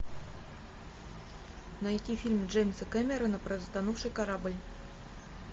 найти фильм джеймса кемерона про затонувший корабль